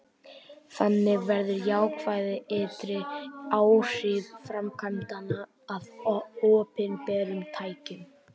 þannig verða jákvæð ytri áhrif framkvæmdanna að opinberum tekjum